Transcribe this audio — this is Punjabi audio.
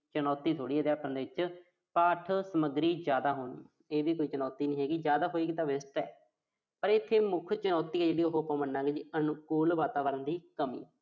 ਚੁਣੌਤੀ ਥੋੜ੍ਹੀ ਆ ਅਧਿਆਪਨ ਦੇ ਵਿੱਚ। ਪਾਠ ਸਮੱਗਰੀ ਜ਼ਿਆਦਾ ਹੋਣੀ। ਇਹ ਵੀ ਕੋਈ ਚੁਣੌਤੀ ਨੀਂ ਹੈਗੀ। ਜ਼ਿਆਦਾ ਸਮੱਗਰੀ ਤਾਂ best ਆ। ਪਰ ਇਥੇ ਮੁੱਖ ਚੁਣੌਤੀ ਆ ਜਿਹੜੀ ਉਹੋ ਆਪਾਂ ਮੰਨਾਂਗੇ ਜੀ। ਅਨੁਕੂਲ ਵਾਤਾਵਰਣ ਦੀ ਕਮੀ।